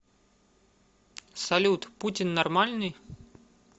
салют путин нормальный